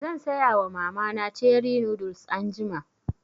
Zan saya wa mama na cherie noodles anjima